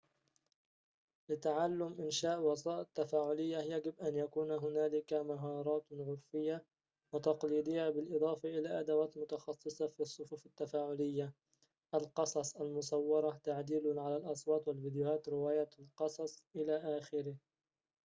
لتعلم إنشاء وسائط تفاعلية يجب أن يكون هنالك مهارات عُرفية وتقليدية بالإضافة إلى أدوات متخصصة في الصفوف التفاعلية القصص المصورة، تعديل على الأصوات والفيديوهات، رواية القصص... إلخ